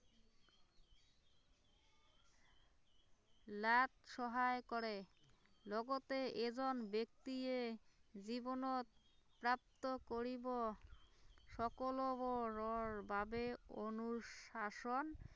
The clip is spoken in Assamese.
luck সহায় কৰে লগতে এজন ব্য়ক্তিয়ে জীৱনত প্ৰাপ্ত কৰিব সকলোবোৰৰ বাবে অনুশাসন